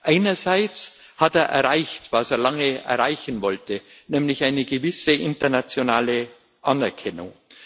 Einerseits hat er erreicht, was er lange erreichen wollte, nämlich eine gewisse internationale Anerkennung.